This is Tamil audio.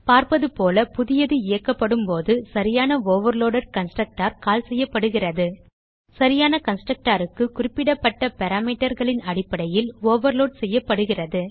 பார்ப்பது போல புதியது இயக்கப்படும்போது சரியான ஓவர்லோடெட் கன்ஸ்ட்ரக்டர்கால் செய்யப்படுகிறது சரியான constructorக்கு குறிப்பிடப்பட்ட parameterகளின் அடிப்படையில் ஓவர்லோட் செய்யப்படுகிறது